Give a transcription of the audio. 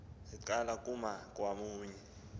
ziqala kuma kwakunye